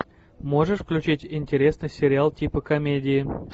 можешь включить интересный сериал типа комедии